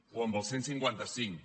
o amb el cent i cinquanta cinc